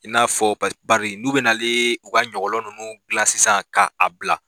I n'a fɔ pari n'u bɛna na u ka ɲɔgɔnlɔn ninnu dila sisan ka' a bila